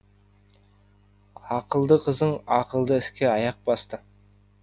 ақылды қызың ақылды іске аяқ басты